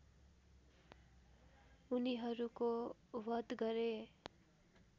उनीहरूको वध गरे